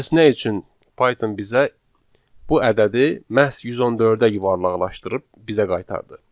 Bəs nə üçün Python bizə bu ədədi məhz 114-ə yuvarlaqlaşdırıb bizə qaytardı?